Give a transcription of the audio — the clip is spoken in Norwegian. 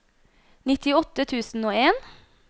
nittiåtte tusen og en